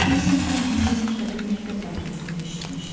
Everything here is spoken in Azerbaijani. Deyəsən bu mahnını ilk dəfə məktəb radiosunda eşitmişdim.